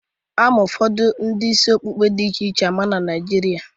Ama ụfọdụ udiri isi ọkpụkpa a dị iche iche ama na Naịjirịa